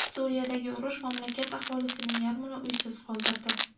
Suriyadagi urush mamlakat aholisining yarmini uysiz qoldirdi.